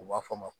U b'a fɔ a ma